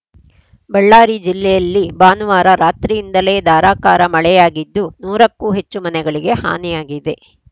ಬಳ್ಳಾರಿ ಜಿಲ್ಲೆಯಲ್ಲಿ ಭಾನುವಾರ ರಾತ್ರಿಯಿಂದಲೇ ಧಾರಾಕಾರ ಮಳೆಯಾಗಿದ್ದು ನೂರ ಕ್ಕೂ ಹೆಚ್ಚು ಮನೆಗಳಿಗೆ ಹಾನಿಯಾಗಿದೆ